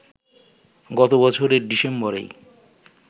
গত বছরের ডিসেম্বরেই